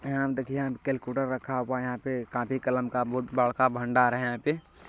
यहाँ देखिए यहाँ केल्क्युलेटर रखा हुआ है यहाँ पे कॉपी कलम का बहुत बड़का भडार है यहाँ पे--